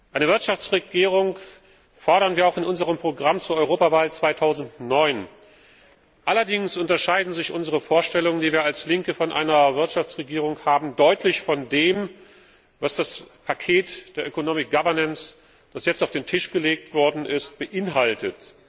Eine Wirtschaftsregierung fordern wir auch in unserem Programm zur Europawahl 2009. Allerdings unterscheiden sich unsere Vorstellungen, die wir als Linke von einer Wirtschaftsregierung haben, deutlich von dem, was das Paket der das jetzt auf den Tisch gelegt worden ist, beinhaltet.